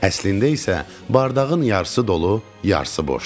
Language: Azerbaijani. Əslində isə bardağın yarısı dolu, yarısı boşdur.